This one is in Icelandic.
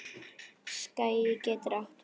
Skagi getur átt við